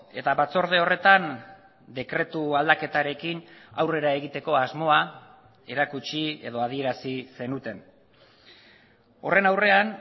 eta batzorde horretan dekretu aldaketarekin aurrera egiteko asmoa erakutsi edo adierazi zenuten horren aurrean